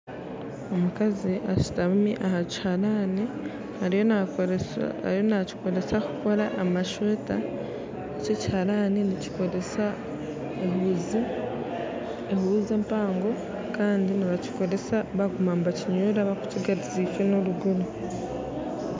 Omukazi ashutami ahakiharani ariyo nakikozesa kukora amasweta, ekiharani eki nikikozesa ehuuzi empango kandi nibakikozesa barikukinyura barikukigaruza ifo na eruguru.